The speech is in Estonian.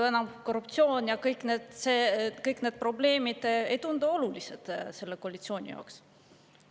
Korruptsioon ja kõik need probleemid ei tundu selle koalitsiooni jaoks olulised olevat.